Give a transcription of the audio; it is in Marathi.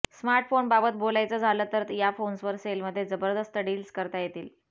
स्मार्टफोनबाबत बोलायचं झालं तर या फोन्सवर सेलमध्ये जबदस्त डिल्स करता येतील